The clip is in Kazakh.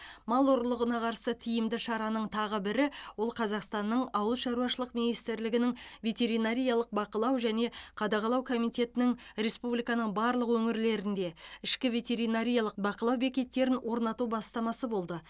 мал ұрлығына қарсы тиімді шараның тағы бірі ол қазақстанның ауыл шаруашылық министрлігінің ветеринариялық бақылау және қадағалау комитетінің республиканың барлық өңірлерінде ішкі ветеринариялық бақылау бекеттерін орнату бастамасы болды